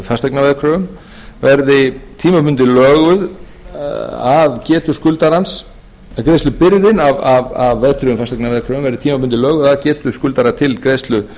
greiðslugeta af verðtryggðum fasteignaveðkröfum verði tímabundið löguð að getu skuldarans greiðslubyrðin af verðtryggðum fasteignaveðkröfum verði tímabundið löguð að getu skuldara til greiðslu